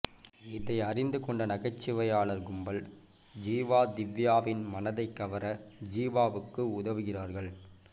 இதை அறிந்து கொண்ட நகைச்சுவையாளர் கும்பல் ஜீவா திவ்யாவின் மனதை கவர ஜீவாவுக்கு உதவுகிறார்கள்